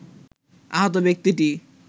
আহত ব্যক্তিটি